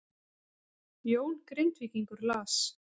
Jón Grindvíkingur las